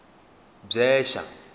bvexa